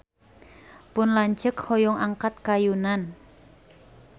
Pun lanceuk hoyong angkat ka Yunan